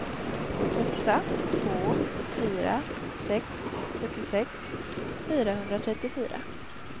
åtta två fyra sex sjuttiosex fyrahundratrettiofyra